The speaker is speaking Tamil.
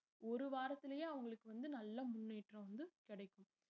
ஒரு வாரத்திலயே அவங்களுக்கு வந்து நல்ல முன்னேற்றம் வந்து கிடைக்கும்